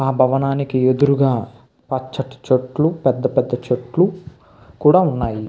ఆ భవనానికి ఎదురుగా పచ్చటి చెట్లు పెద్ద పెద్ద చెట్లు కూడా ఉన్నాయి.